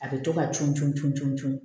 A bɛ to ka cun cun tu